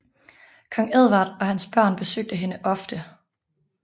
Kong Edvard og hans børn besøgte hende ofte